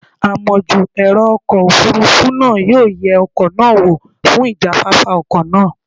Amojú ẹ̀rọ ọkọ̀ Òfurufú náà yóò yẹ ọkọ̀ náà wò fún ìjáfáfá ọkọ̀ náà.